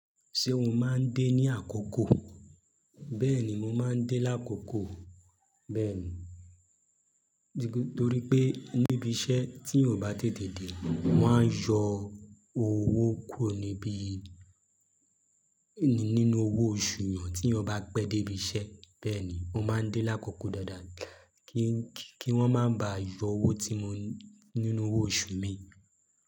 Ṣé o máa ń dé ní àkókò? Bẹ́ẹ̀ni, mo máa ń dé lákòókò. Bẹ́ẹ̀ni, torí pé níbi iṣẹ́ tí eeyan o bá tètè dé, wón á yọ owó kúrò níbi nínú owó oṣù yan tí eeyan bá pẹ́ dé ibi iṣẹ́. Bẹ́ẹ̀ ni, mo máa ń dé lákòókò dáadáa kí wón máa ba à yọ owó nínú owó oṣù mi.